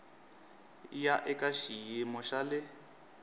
ya eka xiyimo xa le